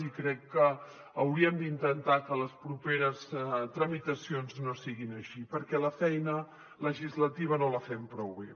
i crec que hauríem d’intentar que les properes tramitacions no siguin així perquè la feina legislativa no la fem prou bé